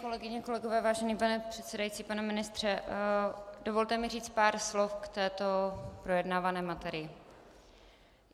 Kolegyně, kolegové, vážený pane předsedající, pane ministře, dovolte mi říct pár slov k této projednávané materii.